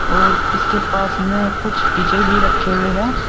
और इसके पास में कुछ डी_जे भी रखे हुए है।